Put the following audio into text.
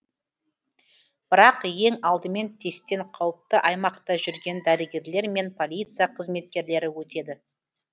бірақ ең алдымен тесттен қауіпті аймақта жүрген дәрігерлер мен полиция қызметкерлері өтеді